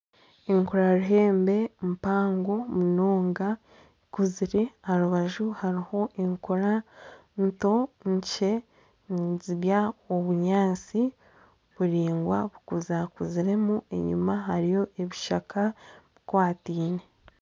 Enkura ruhembe mpango munonga ekuzire aharubaju hariho enkura nkye nizirya obunyatsi buraingwa bukuzakuziremu enyuma hariyo ebishaka bikwataine.